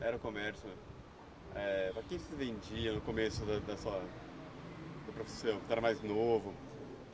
era o comércio? Eh... Para quem você vendia no começo da da sua... Do profissão, que você era mais novo?